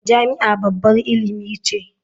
Jami'a babbar ilimi ce.